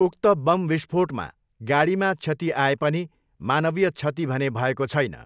उक्त बम विष्फोटमा गाडीमा क्षति आए पनि मानवीय क्षति भने भएको छैन।